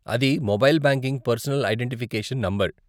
అది mobile banking personal identification number.